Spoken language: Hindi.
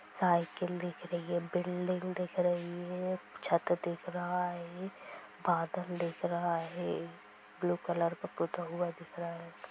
साइकल दिख रही है| बिल्डिंग दिख रही है| छत दिख रहा है| बादल दिख रहा है| ब्लू कलर का पोता हुआ दिख रहा है।